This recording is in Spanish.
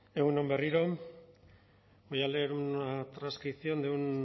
egun on berriro voy a leer una transcripción de